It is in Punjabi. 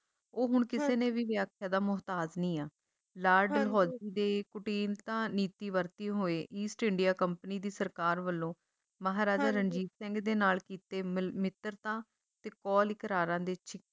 ਉਹ ਹੁਣ ਕਿਸੇ ਨੇ ਵੀ ਵਿਆਖਿਆ ਦਾ ਮੋਹਤਾਜ ਨਹੀਂ ਆ ਲਾਰਡ ਡਲਹੌਜੀ ਦੇ ਕੁਟਿਨਤਾ ਨੀਤੀ ਵਰਤਦੇ ਹੋਏ east india company ਦੀ ਸਰਕਾਰ ਵੱਲੋਂ ਮਹਾਰਾਜਾ ਰਣਜੀਤ ਸਿੰਘ ਦੇ ਨਾਲ ਕੀਤੇ ਮਿਲ ਮਿੱਤਰਤਾ ਤੇ ਕੌਲ ਕਰਾਰਾਂ ਦੇ ਛ